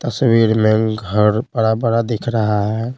तस्वीर में घर बड़ा-बड़ा दिख रहा है।